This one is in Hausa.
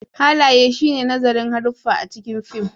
Halaye shi ne nazarin haruffa a cikin fim